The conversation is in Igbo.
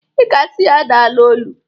I ga asi ya daalụ ọlụ!